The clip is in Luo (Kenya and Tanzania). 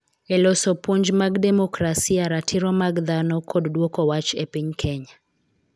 E loso puonj mag demokrasia, ratiro mag dhano, kod dwoko wach e piny Kenya.